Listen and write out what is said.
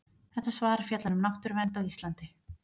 Þetta svar fjallar um náttúruvernd á Íslandi.